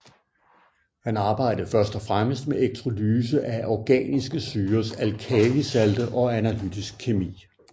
Han arbejdede først og fremmest med elektrolyse af organiske syrers alkalisalte og analytisk kemi